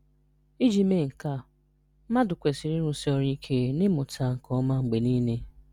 Ị́jị mee nké a, mmádụ̀ kwesìrì ịrụ́sí ọ̀rụ́ ike n’ịmụ́tà nkéọ́ma mgbe niile.